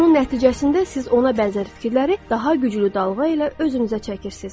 Bunun nəticəsində siz ona bənzər fikirləri daha güclü dalğa ilə özünüzə çəkirsiz.